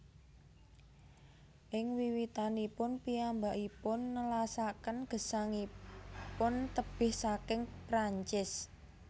Ing wiwitanipun piyambakipun nelasaken gesangipun tebih saking Perancis